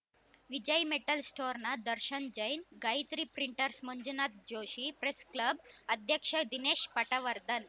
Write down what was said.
ವಿಜಯ metal ಸ್ಟೋರ್‌ನ ದರ್ಶನ್‌ ಜೈನ್‌ ಗಾಯತ್ರಿ ಪ್ರಿಂಟರ್‍ಸ್ನ Manjunath Joshi press club ಅಧ್ಯಕ್ಷ ದಿನೇಶ್‌ ಪಟವರ್ಧನ್‌